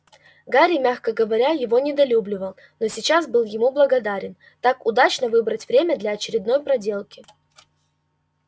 гарри мягко говоря его недолюбливал но сейчас был ему благодарен так удачно выбрать время для очередной проделки